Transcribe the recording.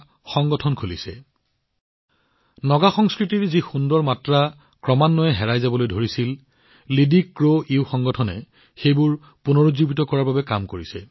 সংগঠনটোৱে নাগা সংস্কৃতিৰ সুন্দৰ দিশবোৰ পুনৰুজ্জীৱিত কৰাৰ কাম হাতত লৈছে যিবোৰ হেৰাই যোৱাৰ উপক্ৰম হৈছিল